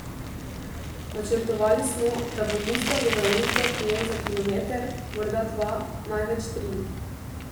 Načrtovali smo, da bo mustangove uzde prijel za kilometer, morda dva, največ tri.